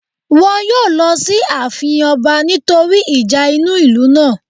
Wọn yóò lọ sí àfin ọba nítorí ìjà inú ìlú náà